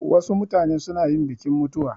Wasu mutane suna yin bikin mutuwa